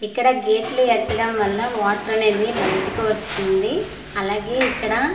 ఇక్కడ గెట్లు ఎత్తడం వల్ల వాటర్ అనేది బయటికి వస్తుంది అలాగే ఇక్కడ ఒక.